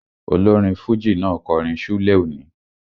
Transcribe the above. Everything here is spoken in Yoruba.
Olórin fújì náà kọrin ṣúlẹ̀ òní